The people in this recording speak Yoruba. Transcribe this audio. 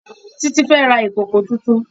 Títí fẹ́ ra ìkòkò tuntun